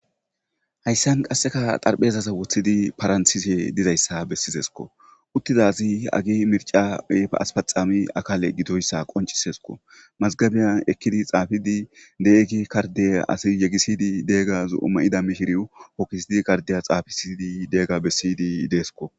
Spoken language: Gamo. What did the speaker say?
hayssan qasseka darphezaza woththidi paranthise dizayssa bessizesko uttizazi agi mirca aspaxami akale gitoyssa qoncisesko mazgabiyan ekkidi xaafidi deegi karde asi yegisidi deegaz oma7ida mishiri hokkisidi kardeya xaafisidi deega bessiydi deesko